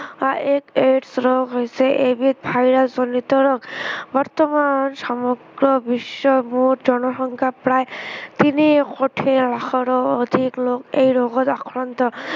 আহ এই AIDS ৰোগা হৈছে এবিধা virus জনিত ৰোগ। বৰ্তমান সমগ্ৰ বিশ্বৰ মুঠা জনসংখ্যাৰ প্ৰায় তিনি কোটি লাখৰো অধিক লোক এই ৰোগত আক্ৰান্ত।